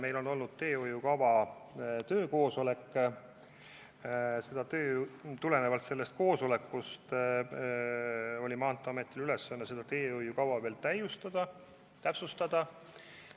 Aga kõigepealt ma täpsustaksin seda, et meil oli teehoiukava töökoosolek ja Maanteeamet sai ülesandeks teehoiukava täiustada, täpsustada.